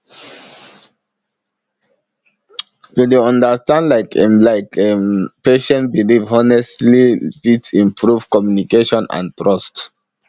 to dey understand like a like a patient belief honestly fit improve communication and trust